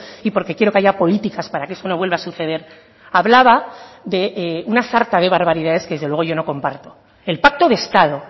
y porque quiero que haya políticas para que eso no vuelva a suceder hablaba de una sarta de barbaridades que desde luego yo no comparto el pacto de estado